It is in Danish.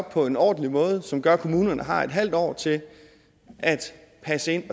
på en ordentlig måde som gør at kommunerne har et halvt år til at passe det